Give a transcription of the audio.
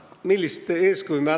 Palun!